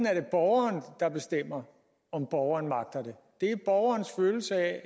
er det borgeren der bestemmer om borgeren magter det det er borgerens følelse af